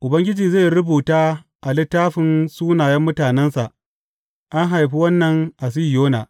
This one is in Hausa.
Ubangiji zai rubuta a littafin sunayen mutanensa, An haifi wannan a Sihiyona.